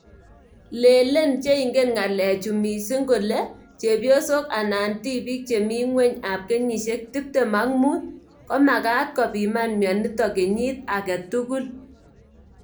Len che ingen ngalek chu mising kole chwpiosok anan tibik che mi nguny ap kenyishek tiptim ak mut(25) ko magat kopiman mionitok kenyit agei tugul.